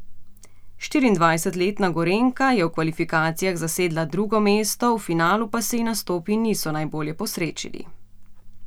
Štiriindvajsetletna Gorenjka je v kvalifikacijah zasedla drugo mesto, v finalu pa se ji nastopi niso najbolje posrečili.